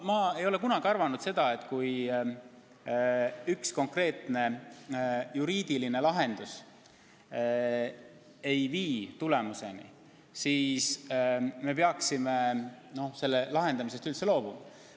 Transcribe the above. Ma ei ole kunagi arvanud, et kui üks konkreetne juriidiline lahendus ei vii tulemuseni, siis peaks selle lahendamisest üldse loobuma.